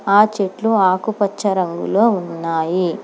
ఆ చెట్లు ఆకుపచ్చ రంగులో ఉన్నాయి.